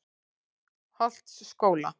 Holtsskóla